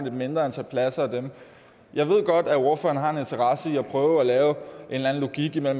et mindre antal pladser af dem jeg ved godt at ordføreren har en interesse i at prøve at lave en eller anden logik hvor